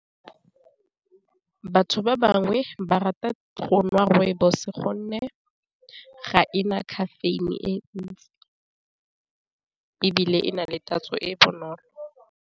Batho ba bangwe ba rata go nwa rooibos gonne ga ena caffeine-e, e ntsi e bile e na le tatso e e bonolo.